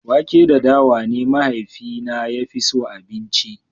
wake da dawa ne mahaifina ya fi so abinci